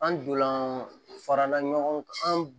An donlan farala ɲɔgɔn kan an